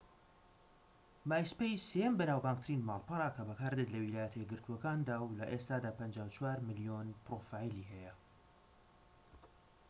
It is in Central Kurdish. مایسپەیس سێهەم بەناوبانگترین ماڵپەڕە کە بەکاردێت لە ویلایەتە یەکگرتوەکاندا و لە ئێستادا ٥٤ ملیۆن پرۆفایلی هەیە